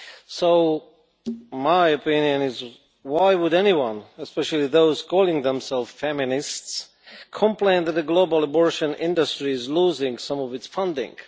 So my opinion is, why would anyone especially those calling themselves feminists complain that a global abortion industry is losing some of its funding?